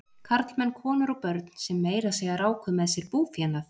Karlmenn, konur og börn sem meira að segja ráku með sér búfénað.